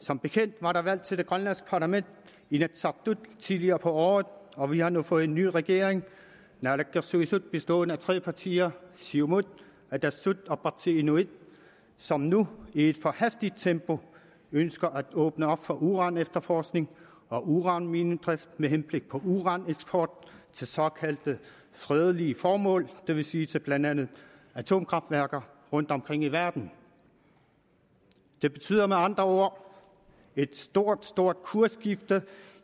som bekendt var der valg til det grønlandske parlament inatsisartut tidligere på året og vi har nu fået en ny regering naalakkersuisut bestående af tre partier siumut atassut og partii inuit som nu i et for hastigt tempo ønsker at åbne op for uranefterforskning og uranminedrift med henblik på uraneksport til såkaldt fredelige formål det vil sige til blandt andet atomkraftværker rundtomkring i verden det betyder med andre ord et stort stort kursskifte